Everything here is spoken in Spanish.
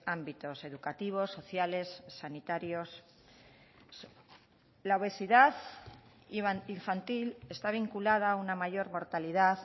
ámbitos educativos sociales sanitarios la obesidad infantil está vinculada a una mayor mortalidad